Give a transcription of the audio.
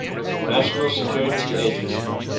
national security agency